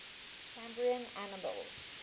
cambrian animals